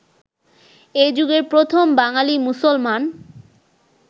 এযুগের প্রথম বাঙালি মুসলমান